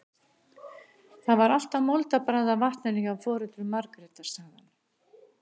Það var alltaf moldarbragð af vatninu hjá foreldrum Margrétar, sagði hann.